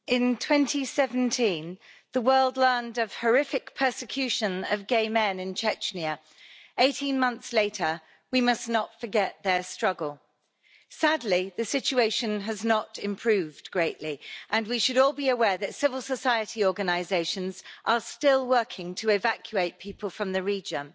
Mr President, in 2017 the world learned of horrific persecution of gay men in Chechnya. 18 months later we must not forget their struggle. Sadly, the situation has not improved greatly and we should all be aware that civil society organisations are still working to evacuate people from the region.